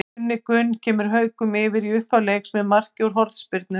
Gunni Gunn kemur Haukum yfir í upphafi leiks með marki úr hornspyrnu.